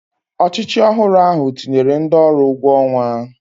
Ọchịchị ọhụrụ ahụ tinyere ndị ọrụ ụgwọ ọnwa